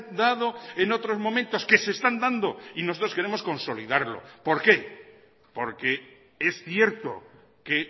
dado en otros momentos que se están dando y nosotros queremos consolidarlo por qué porque es cierto que